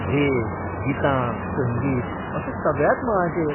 भेस, गितां, संगीत अशा सगळ्याच मळांचेर.